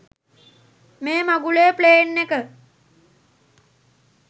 මේ මගුලේ ප්ලේන් එක